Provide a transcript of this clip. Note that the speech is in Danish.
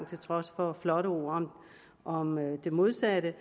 til trods for flotte ord om det modsatte